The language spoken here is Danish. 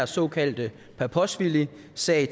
såkaldte paposhvilisag